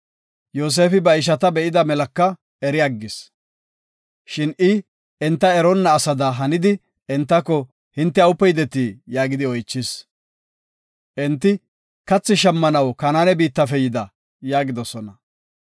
Yoosefi ba ishata be7ida melaka eri aggis. Shin I enta eronna asada hanidi; entako, “Hinte awupe yideti?” yaagidi oychis. Enti, “Kathi shammanaw, Kanaane biittafe yida” yaagidosona.